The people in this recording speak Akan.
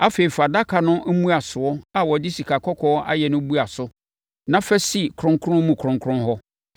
Afei, fa adaka no mmuasoɔ a wɔde sikakɔkɔɔ ayɛ no bua so na fa si kronkron mu kronkron hɔ.